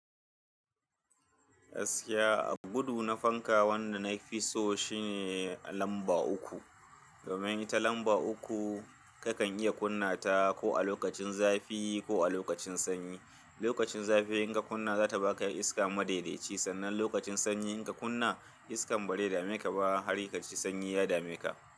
Gaskiya, gudu na fanka wanda na fi so shine lamba uku. Domin ita lamba uku kakan iya kunna ta ko a lokacin zafi ko a lokacin sanyi. Lokacin zafi in ka kunna za ta ba ka iska madaidaci sannan lokacin sanyi in ka kunna iskan bare dame ka ba har kaji sanyi ya dame ka.